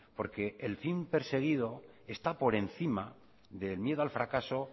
porque el fin perseguido está por encima del miedo al fracaso